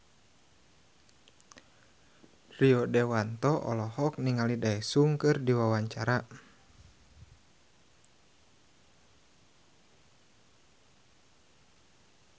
Rio Dewanto olohok ningali Daesung keur diwawancara